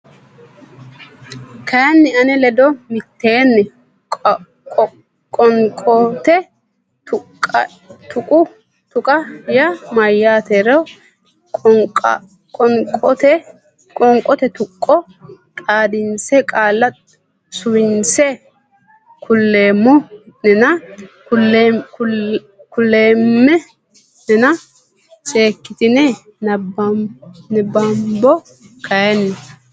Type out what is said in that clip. kayinni ane ledo mitteenni Qoonqote tuqqo yaa mayyaatero qoonqote tuqqo xaadinse qaale suwinse kuleemmo nena kuleemma nena seekkitine nabbambo kayinni.